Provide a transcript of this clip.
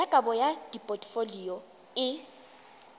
ya kabo ya dipotfolio e